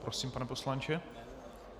Prosím, pane poslanče.